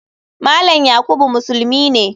Malam yakubu musulmi ne.